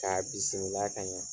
K'a bisimila ka ɲa.